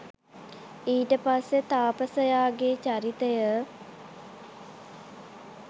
ඊට පස්සේ තාපසයාගෙ චරිතය